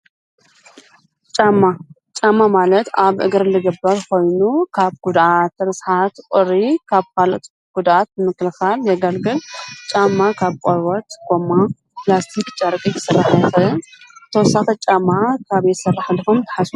ጫማ፡- ጫማ ማለት ኣብ እግሪ ልግበር ኾይኑ ካብ ጕድኣት፣ ርስሓት ፣ቑሪ ካብ ካልኦት ጉዳኣት ምክልኻል የገልግል፡፡ ጫማ ካብ ቆርበት፣ ጎማ ፣ኘላስቲኽ ፣ጨርቂ ዝስራሕ እዩ፡፡ ተወሳኺ ጫማ ካብ ታይ ይስራሕ ኢልኹም ተሓስቡ?